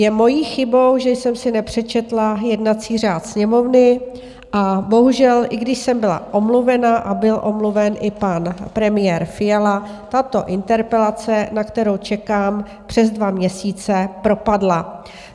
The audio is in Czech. Je mojí chybou, že jsem si nepřečetla jednací řád Sněmovny, a bohužel, i když jsem byla omluvena a byl omluven i pan premiér Fiala, tato interpelace, na kterou čekám přes dva měsíce, propadla.